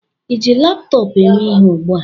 ịji laptọọpụ eme ihe ugbu a?